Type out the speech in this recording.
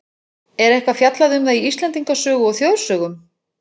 Er eitthvað fjallað um það í Íslendingasögu og þjóðsögum?